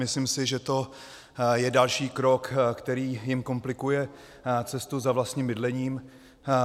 Myslím si, že to je další krok, který jim komplikuje cestu za vlastním bydlením.